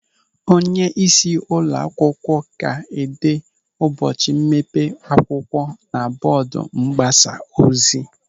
Onyeisi ụlọ akwụkwọ ga-ede ụbọchị mmepe akwụkwọ na bọọdu mgbasa ozi.